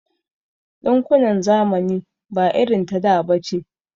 Ɗinkunan zamani ba irin ta da bace.